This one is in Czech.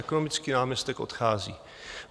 Ekonomický náměstek odchází.